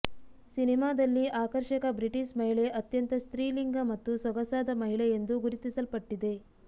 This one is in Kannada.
ಸಿನಿಮಾದಲ್ಲಿ ಆಕರ್ಷಕ ಬ್ರಿಟಿಷ್ ಮಹಿಳೆ ಅತ್ಯಂತ ಸ್ತ್ರೀಲಿಂಗ ಮತ್ತು ಸೊಗಸಾದ ಮಹಿಳೆ ಎಂದು ಗುರುತಿಸಲ್ಪಟ್ಟಿದೆ